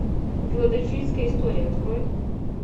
филадельфийская история открой